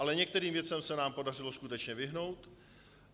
Ale některým věcem se nám podařilo skutečně vyhnout.